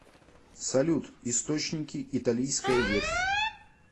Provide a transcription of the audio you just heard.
салют источники италийская ветвь